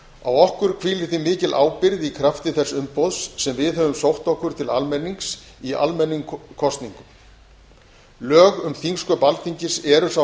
á okkur hvílir því mikil ábyrgð í krafti þess umboðs sem við höfum sótt okkur til almennings í almennum kosningum lög um þingsköp alþingis eru sá